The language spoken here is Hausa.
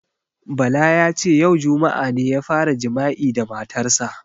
Bala ya ce "yau juma'a ne ya fara jima'i da matar sa".